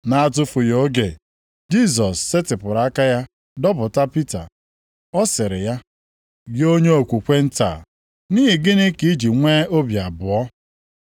Na-atụfughị oge, Jisọs setịpụrụ aka ya dọpụta Pita. Ọ sịrị ya, “Gị onye okwukwe nta, nʼihi gịnị ka i ji nwee obi abụọ!”